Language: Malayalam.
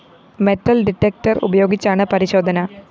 മെറ്റൽ ഡിറ്റക്ടർ ഉപയോഗിച്ചാണ് പരിശോധന